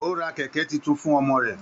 O rà kẹkẹ títún fún ọmọ rẹ.